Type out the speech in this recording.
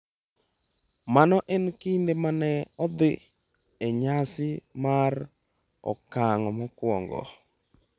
Mano e kinde ma ne odhi e nyasi mar okang’ mokwongo.